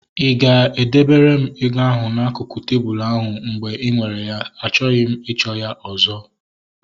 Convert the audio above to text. Ị ga e debere m ego ahu n'akụkụ tebụlu ahu mgbe ị nwere ya? Achọghị m ịchọ ya ọzọ